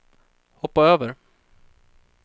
hoppa över